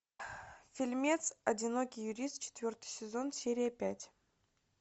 фильмец одинокий юрист четвертый сезон серия пять